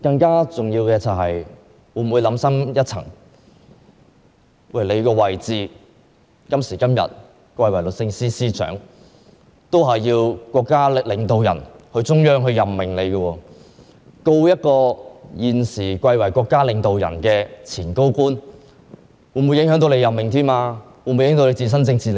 更重要的是，市民會認為，她今天之所以貴為律政司司長，是由國家領導人及中央政府任命的，如果檢控現時貴為國家領導人之一的前高官梁振英，便會影響她的任命及自身的政治利益。